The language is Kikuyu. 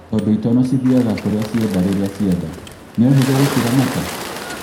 Tondu itono cithiaga kũrĩa cienda rĩrĩa cienda, nĩ ũhũthu gũciramata